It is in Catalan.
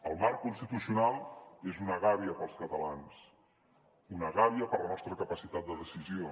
el marc constitucional és una gàbia per als catalans una gàbia per a la nostra capacitat de decisió